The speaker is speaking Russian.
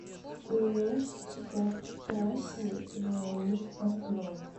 нет тебя прекрасней леонид портной